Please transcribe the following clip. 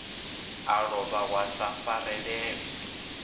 a lovha wa sa farelela